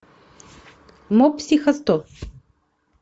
мопсихосто